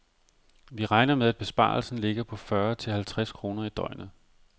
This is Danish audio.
Vi regner med, at besparelsen ligger på fyrre til halvtreds kroner i døgnet.